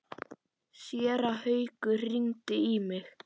Séra Haukur hringdi í mig.